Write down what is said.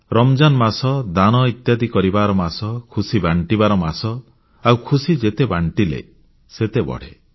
ରମଜାନ ମାସ ଦାନ ଇତ୍ୟାଦି କରିବାର ମାସ ଖୁସି ବାଣ୍ଟିବାର ମାସ ଆଉ ଖୁସି ଯେତେ ବାଣ୍ଟିଲେ ସେତେ ବଢ଼େ